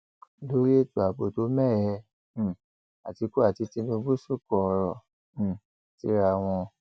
lórí ètò ààbò tó mẹhẹ um àtìkú àti tinúbù sọkò ọrọ um síra wọn